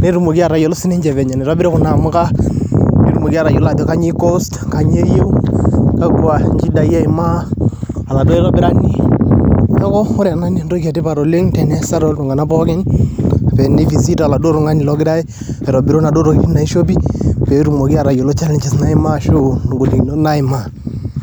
netumoki atayiolo ninche vile nitobiri kuna amuka, neyiolou aajo kainyioo cost kakwa shidai eimaa oladuo aitobirani neeku ore ena naa entoki etipat olneg' teneesa toltung'anak pookin naa ni visit oladuo tung'anai ogira aitobiru inaduo tokitin naishopi pee etumoki aatayiolo challenges arashu ingolikinot naimaa.